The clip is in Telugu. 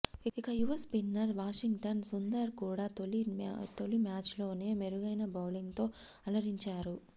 ఇక యువ స్పిన్నర్ వాషింగ్టన్ సుందర్ కూడా తొలి మ్యాచ్లోనే మెరుగైన బౌలింగ్తో అలరించాడు